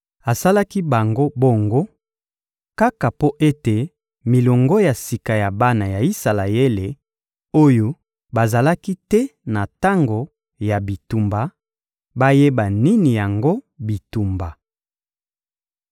Asalaki bango bongo, kaka mpo ete milongo ya sika ya bana ya Isalaele oyo bazalaki te na tango ya bitumba, bayeba nini yango bitumba.